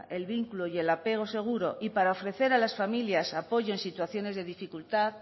el vínculo y el apego seguro y para ofrecer a las familias apoyo en situaciones de dificultad